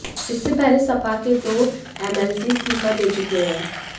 इससे पहले सपा के दो एमएलसी इस्तीफा दे चुके हैं